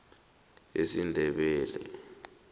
esindebele